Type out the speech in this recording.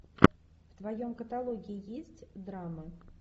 в твоем каталоге есть драмы